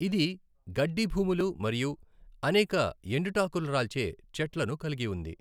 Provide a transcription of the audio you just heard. ఇది గడ్డి భూములు మరియు అనేక ఎండుటాకురాల్చే చెట్లను కలిగి ఉంది.